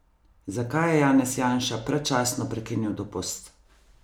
Zakaj je Janez Janša predčasno prekinil dopust?